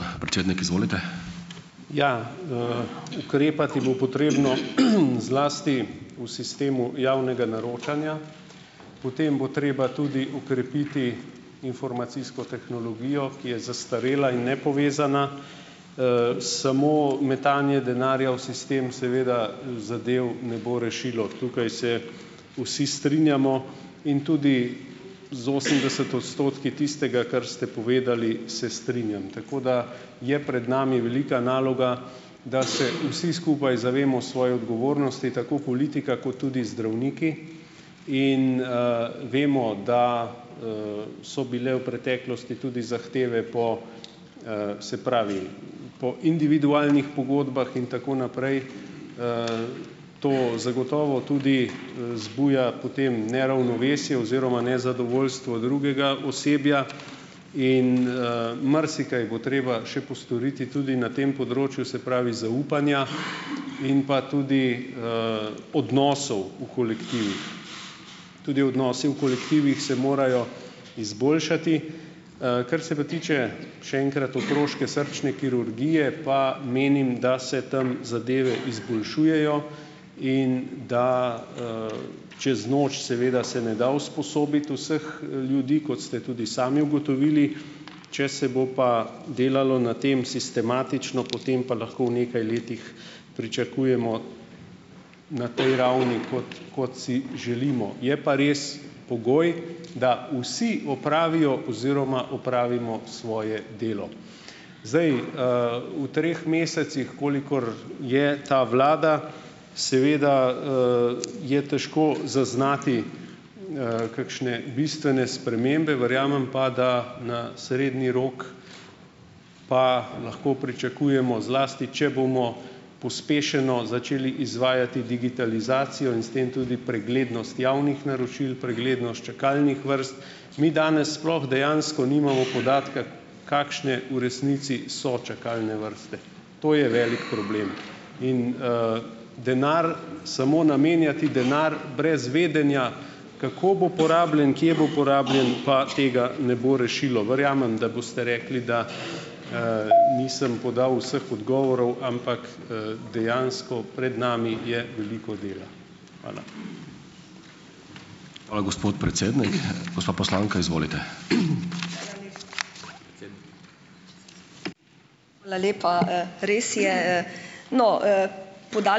Ja, ukrepati bo potrebno, zlasti v sistemu javnega naročanja, potem bo treba tudi okrepiti informacijsko tehnologijo, ki je zastarela in nepovezana. Samo metanje denarja v sistem seveda zadev ne bo rešilo, tukaj se vsi strinjamo in tudi z osemdeset odstotki tistega, kar ste povedali, se strinjam, tako da je pred nami velika naloga, da se vsi skupaj zavemo svoje odgovornosti, tako politika kot tudi zdravniki in, vemo, da, so bile v preteklosti tudi zahteve po, se pravi, po individualnih pogodbah in tako naprej. To zagotovo tudi, zbuja potem neravnovesje oziroma nezadovoljstvo drugega osebja in, marsikaj bo treba še postoriti tudi na tem področju, se pravi, zaupanja in pa tudi, odnosov v kolektivih. Tudi odnosi v kolektivih se morajo izboljšati. Kar se pa tiče, še enkrat, otroške srčne kirurgije, pa menim, da se tam zadeve izboljšujejo in da, čez noč seveda se ne da usposobiti vseh, ljudi, kot ste tudi sami ugotovili, če se bo pa delalo na tem sistematično, potem pa lahko v nekaj letih pričakujemo na tej ravni, kot kot si želimo. Je pa res pogoj, da vsi opravijo oziroma opravimo svoje delo. Zdaj, v treh mesecih, kolikor je ta vlada, seveda, je težko zaznati, kakšne bistvene spremembe, verjamem pa, da na srednji rok pa lahko pričakujemo, zlasti če bomo pospešeno začeli izvajati digitalizacijo in s tem tudi preglednost javnih naročil, preglednost čakalnih vrst. Mi danes sploh dejansko nimamo podatka, kakšne v resnici so čakalne vrste. To je velik problem. In, denar, samo namenjati denar brez vedenja, kako bo porabljen, kje bo porabljen, pa tega ne bo rešilo. Verjamem, da boste rekli, da, nisem podal vseh odgovorov, ampak, dejansko pred nami je veliko dela. Hvala.